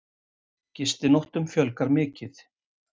Gistinóttum fjölgar mikið